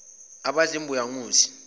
abadla imbuya ngothi